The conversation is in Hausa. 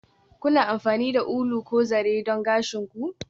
Kuna amfani da ulu ko zare don gashin ku?